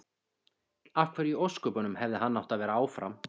Af hverju í ósköpunum hefði hann átt að vera áfram?